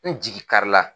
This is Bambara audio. N jigi kari la